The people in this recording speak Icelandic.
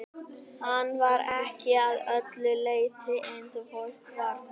Hann var ekki að öllu leyti eins og fólk var flest.